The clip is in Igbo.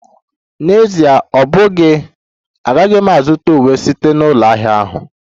N'Ezie ọ bụghị, agaghị m azụta uwe m site na ụlọ ahịa ahụ